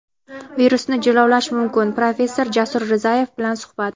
"Virusni jilovlash mumkin" – professor Jasur Rizayev bilan suhbat.